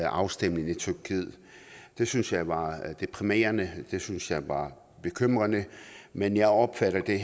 afstemning i tyrkiet det syntes jeg var deprimerende det syntes jeg var bekymrende men jeg opfatter det